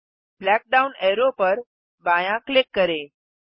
black down arrow पर बायाँ click करें